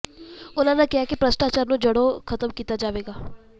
ਉਨ੍ਹਾਂ ਕਿਹਾ ਕਿ ਭ੍ਰਿਸ਼ਟਾਚਾਰ ਨੂੰ ਜੜ੍ਹੋਂ ਖਤਮ ਕੀਤਾ ਜਾਵੇਗਾ